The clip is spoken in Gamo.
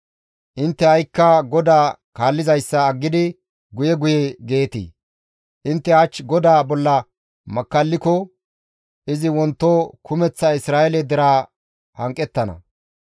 Intte ha7ikka GODAA kaallizayssa aggidi guye guye geetii? « ‹Intte hach GODAA bolla makkalliko izi wonto kumeththa Isra7eele deraa hanqettana.